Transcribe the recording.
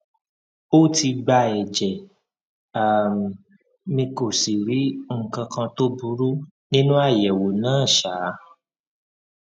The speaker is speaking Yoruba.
ó ti gba ẹjẹ um mi kò sì rí nǹkan kan tó burú nínú àyẹwò náà um